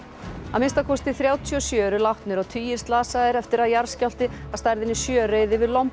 að minnsta kosti þrjátíu og sjö eru látnir og tugir slasaðir eftir að jarðskjálfti að stærðinni sjö reið yfir